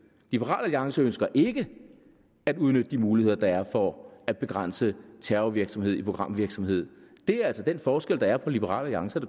liberal alliance ønsker ikke at udnytte de muligheder der er for at begrænse terrorvirksomhed i programvirksomhed det er altså den forskel der er på liberal alliance og